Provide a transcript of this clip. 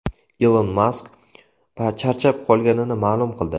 Ilon Mask charchab qolganini ma’lum qildi.